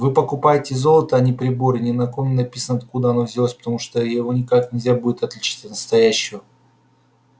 вы покупаете золото а не прибор и ни на ком не написано откуда оно взялось потому что его никак нельзя будет отличить от настоящего